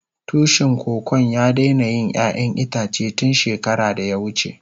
Tushin Kokon ya daina yin ƴayan itace tun shekara da ya wuce.